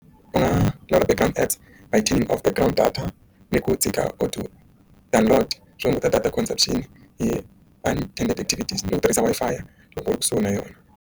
Eka a team of ground data ni ku tshika or o download swi hunguta data connection yi attender activities ni ku tirhisa Wi-Fi loko u ri kusuhi na yona.